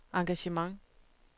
engagement